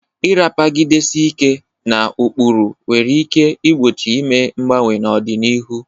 Ịrapagidesi ike na ụkpụrụ nwere ike igbochi ime mgbanwe na ọganihu.